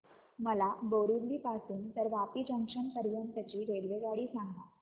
मला बोरिवली पासून तर वापी जंक्शन पर्यंत ची रेल्वेगाडी सांगा